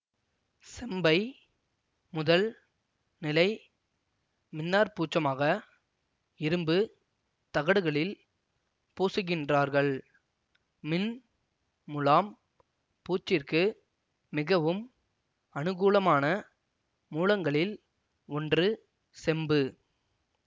செம்பை முதல் நிலை மின்னாற்பூச்சமாக இரும்பு தகடுகளில் பூசுகின்றார்கள் மின் முலாம் பூச்சிற்கு மிகவும் அனுகூலமான மூலங்களில் ஒன்று செம்பு